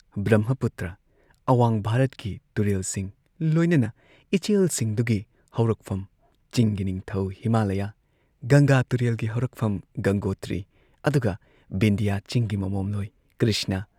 ꯕ꯭ꯔꯝꯍꯄꯨꯇ꯭ꯔ ꯑꯋꯥꯡ ꯚꯥꯔꯠꯀꯤ ꯇꯨꯔꯦꯜꯁꯤꯡ ꯂꯣꯏꯅꯅ ꯏꯆꯦꯜꯁꯤꯡꯗꯨꯒꯤ ꯍꯧꯔꯛꯐꯝ ꯆꯤꯡꯒꯤꯅꯤꯡꯊꯧ ꯍꯤꯃꯥꯂꯌꯥ ꯒꯪꯒꯥ ꯇꯨꯔꯦꯜꯒꯤ ꯍꯧꯔꯛꯐꯝ ꯒꯪꯒꯣꯇ꯭ꯔꯤ ꯑꯗꯨꯒ ꯚꯤꯟꯙꯤꯌꯥ ꯆꯤꯡꯒꯤ ꯃꯃꯣꯝꯂꯣꯏ ꯀ꯭ꯔꯤꯁꯅ